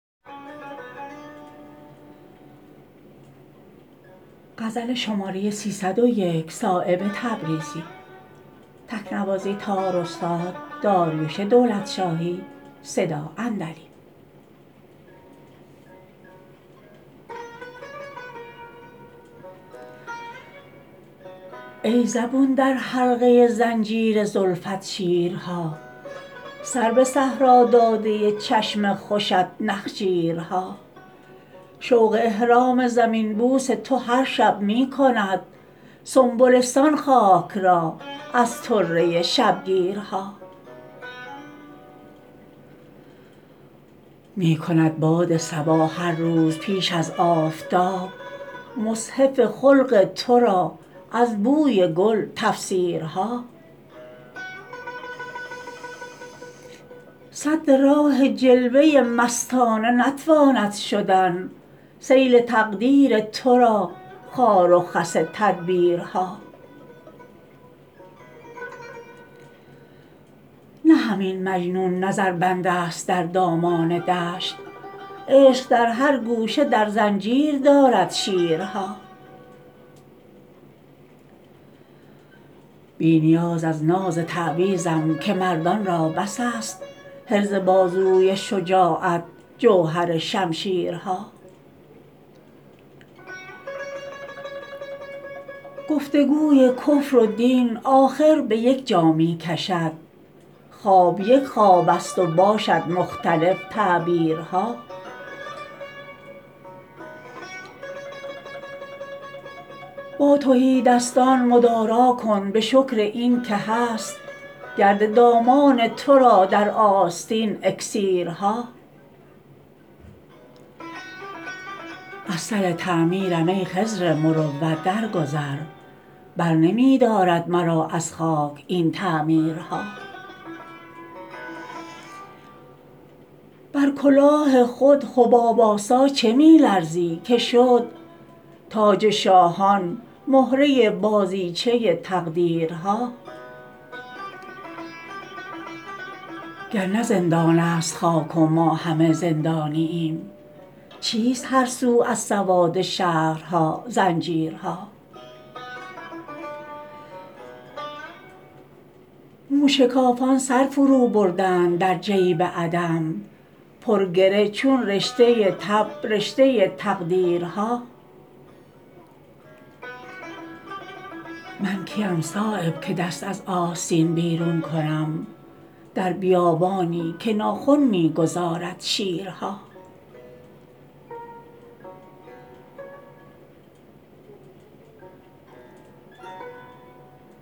ای زبون در حلقه زنجیر زلفت شیرها سر به صحرا داده چشم خوشت نخجیرها شوق احرام زمین بوس تو هر شب می کند سنبلستان خاک را از طره شبگیرها می کند باد صبا هر روز پیش از آفتاب مصحف خلق ترا از بوی گل تفسیرها سد راه جلوه مستانه نتواند شدن سیل تقدیر ترا خار و خس تدبیرها نه همین مجنون نظر بندست در دامان دشت عشق در هر گوشه در زنجیر دارد شیرها بی نیاز از ناز تعویذم که مردان را بس است حرز بازوی شجاعت جوهر شمشیرها گفتگوی کفر و دین آخر به یک جا می کشد خواب یک خواب است و باشد مختلف تعبیرها با تهیدستان مدارا کن به شکر این که هست گرد دامان ترا در آستین اکسیرها از سر تعمیرم ای خضر مروت در گذر برنمی دارد مرا از خاک این تعمیرها بر کلاه خود حباب آسا چه می لرزی که شد تاج شاهان مهره بازیچه تقدیرها گر نه زندان است خاک و ما همه زندانییم چیست هر سو از سواد شهرها زنجیرها موشکافان سر فرو بردند در جیب عدم پر گره چون رشته تب رشته تقریرها من کیم صایب که دست از آستین بیرون کنم در بیابانی که ناخن می گذارد شیرها